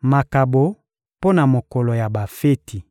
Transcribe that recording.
Makabo mpo na mokolo ya bafeti